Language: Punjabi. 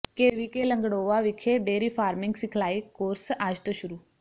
ਕੇਵੀਕੇ ਲੰਗੜੋਆ ਵਿਖੇ ਡੇਅਰੀ ਫਾਰਮਿੰਗ ਸਿਖਲਾਈ ਕੋਰਸ ਅੱਜ ਤੋਂ ਸ਼ੁਰੂ